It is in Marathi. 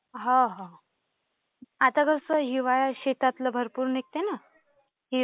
हो, हो. आता कसं हिवाळ्यात शेतातलं भरपूर निघतं ना.